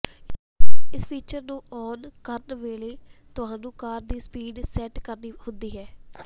ਇਸ ਫੀਚਰ ਨੂੰ ਆਨ ਕਰਨ ਵੇਲੇ ਤੁਹਾਨੂੰ ਕਾਰ ਦੀ ਸਪੀਡ ਸੈਟ ਕਰਨੀ ਹੁੰਦੀ ਹੈ